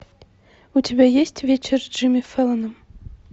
у тебя есть вечер с джимми фэллоном